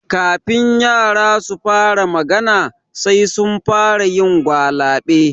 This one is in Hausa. Kafin yara su fara magana, sai sun fara yin gwalaɓe.